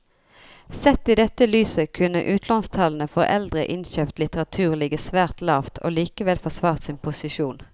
Sett i dette lyset kunne utlånstallene for eldre innkjøpt litteratur ligget svært lavt og likevel forsvart sin posisjon.